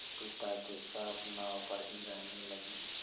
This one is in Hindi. पिता के साथ नाव पर ही रहने लगी